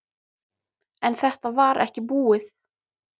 En þetta var ekki búið.